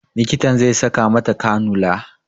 Likitan zai saka mata kanula